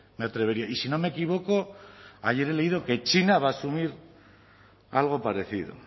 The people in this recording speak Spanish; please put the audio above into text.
me atrevería y si no me equivoco ayer he leído que china va a asumir algo parecido